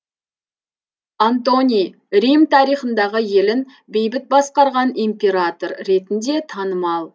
антоний рим тарихындағы елін бейбіт басқарған император ретінде танымал